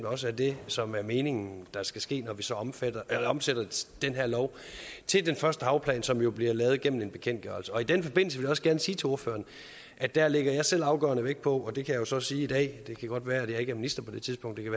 også er det som er meningen skal ske når vi så omsætter omsætter den her lov til den første havplan som jo bliver lavet igennem en bekendtgørelse i den forbindelse vil jeg også gerne sige til ordføreren at der lægger jeg selv afgørende vægt på og det kan jeg så sige i dag det kan godt være at jeg ikke er minister på det tidspunkt det kan